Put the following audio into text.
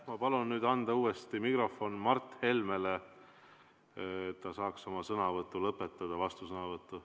Ma palun anda uuesti mikrofon Mart Helmele, et ta saaks oma vastusõnavõtu lõpetada.